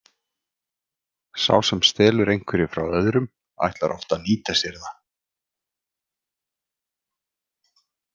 Sá sem stelur einhverju frá öðrum ætlar oft að nýta sér það.